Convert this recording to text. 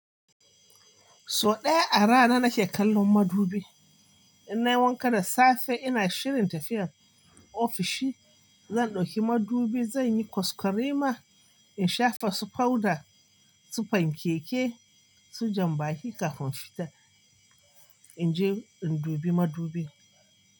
So ɗaya a rana nake kallon madubi. In nai wanka da safe, ina shirin tafiya ofishi, zan ɗauki madubi, zan yi kwaskwarima, in shafa su powder, su fankeke, su jambaki kafin in fita. In je in dubi madubi.